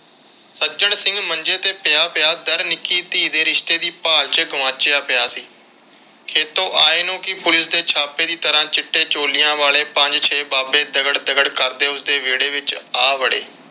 ਸੱਜਣ ਸਿੰਘ ਮੰਜੇ ਤੇ ਪਿਆ ਪਿਆ ਨਿੱਕੀ ਧੀ ਦੇ ਰਿਸ਼ਤੇ ਦੀ ਭਾਲ ਵਿਚ ਗੁਆਚਿਆ ਪਿਆ ਸੀ। ਖੇਤੋਂ ਆਏ ਨੂੰ ਪੁਲਿਸ ਦੇ ਛਾਪੇ ਦੀ ਤਰ੍ਹਾਂ ਚਿੱਟੇ ਛੋਲਿਆਂ ਵਾਲੇ ਪੰਜ ਛੇ ਬਾਬੇ ਦਗੜ ਦਗੜ ਕਰਦੇ ਉਸਦੇ ਵਿਹੜੇ ਵਿਚ ਆ ਵੜੇ।